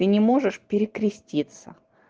ты не можешь перекреститься